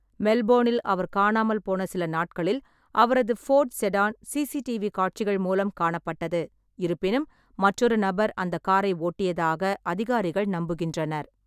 மெல்போர்னில் அவர் காணாமல் போன சில நாட்களில் அவரது ஃபோர்டு செடான் சிசிடிவி காட்சிகள் மூலம் காணப்பட்டது, இருப்பினும் மற்றொரு நபர் அந்த காரை ஓட்டியதாக அதிகாரிகள் நம்புகின்றனர்.